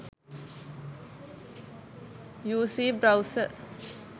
uc browser